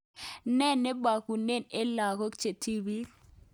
Ne nebekunen eng lakok chetibii?